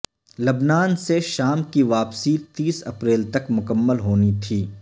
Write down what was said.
لبنان سے شام کی واپسی تیس اپریل تک مکمل ہونی تھی